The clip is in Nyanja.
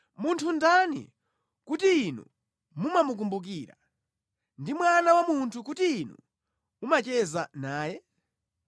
munthu ndani kuti Inu mumamukumbukira, ndi mwana wa munthu kuti inu mumacheza naye?